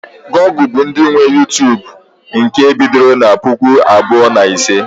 Google bụ ndị nwe Uytubu nke e bidoro na puku abụọ na ise